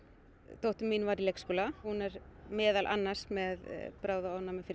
dóttir mín var í leikskóla hún er meðal annars með bráðaofnæmi fyrir